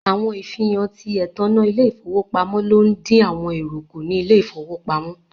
Awọn ifihan tí ètannà ilẹ-ifowopamọ̀ ló n dín àwọn èrò kú ní ilẹ̀ ifowò pamo.